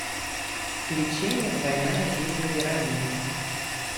включи мне двойная жизнь вероники